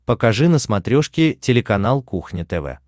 покажи на смотрешке телеканал кухня тв